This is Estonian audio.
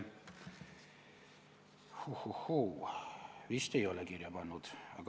Vist ei ole kirja pannud.